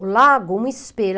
O lago, um espelho.